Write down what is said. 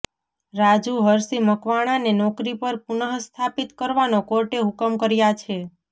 રાજુ હરશી મકવાણાને નોકરી પર પુનઃ સ્થાપિત કરવાનો કોર્ટે હુકમ કર્યા છે